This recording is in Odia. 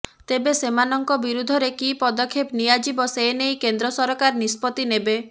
ତେବେ ସେମାନଙ୍କ ବିରୁଦ୍ଧରେ କି ପଦକ୍ଷେପ ନିଆଯିବ ସେନେଇ କେନ୍ଦ୍ର ସରକାର ନିଷ୍ପତି ନେବେ